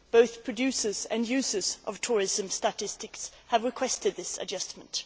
Both producers and users of tourism statistics have requested this adjustment.